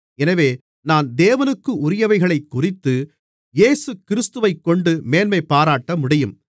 எனவே நான் தேவனுக்குரியவைகளைக்குறித்து இயேசுகிறிஸ்துவைக்கொண்டு மேன்மை பாராட்டமுடியும்